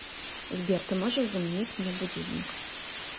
сбер ты можешь заменить мне будильник